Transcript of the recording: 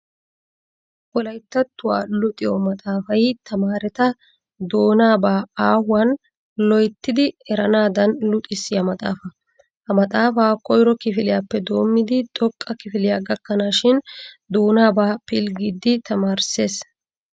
Wolayttattuwa luxiyo maxaafay tamaareta doonaabaa aahuwan loyttidi eranadan luxissiyaa maxaafa. Ha maxaafa koyro kifiliyaappe doomidi xooqqa kifilyaa gakkanaashin doonabaa pilggidi tamaarissees.